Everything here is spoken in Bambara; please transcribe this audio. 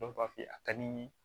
Dɔw b'a f'i ye a ka di n ye